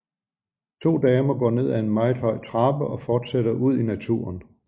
To damer går ned ad meget høj trappe og forsætter ud i naturen